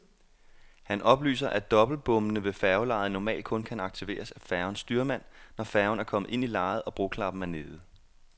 Han oplyser, at dobbeltbommene ved færgelejet normalt kun kan aktiveres af færgens styrmand, når færgen er kommet ind i lejet og broklappen er nede.